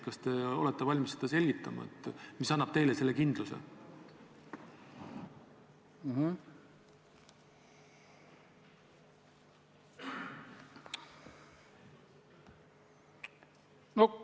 Kas te olete valmis selgitama, mis annab teile selle kindluse?